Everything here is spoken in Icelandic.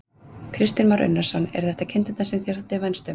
Kristján Már Unnarsson: Eru þetta kindurnar sem þér þótti vænst um?